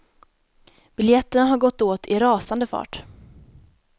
Biljetterna har gått åt i rasande fart.